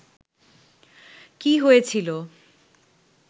কী হয়েছিল